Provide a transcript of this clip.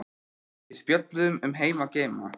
Við spjölluðum um heima og geima.